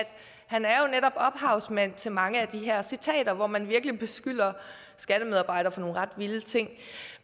han er netop ophavsmand til mange af de her citater hvor man virkelig beskylder skattemedarbejdere for nogle ret vilde ting